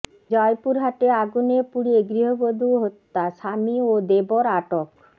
জয়পুরহাটে আগুনে পুড়িয়ে গৃহবধূ হত্যা স্বামী ও দেবর আটক